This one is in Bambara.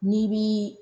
N'i bi